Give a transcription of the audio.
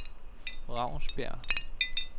Ravnsbjerg